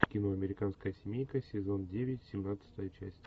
кино американская семейка сезон девять семнадцатая часть